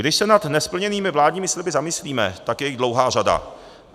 Když se nad nesplněnými vládními sliby zamyslíme, tak je jich dlouhá řada.